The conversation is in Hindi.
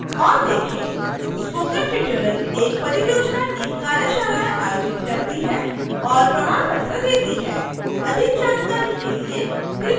स्पोकन ट्यूटोरियल प्रोजेक्ट टीम: कार्यशालाएं आयोजित करती है और प्रमाण पत्र देती है अधिक जानकारी के लिए कृपया हमें लिखें